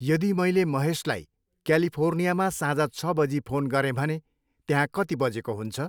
यदि मैले महेशलाई क्यालिफोर्नियामा साँझ छ बजी फोन गरेँ भने त्यहाँ कति बजेको हुन्छ?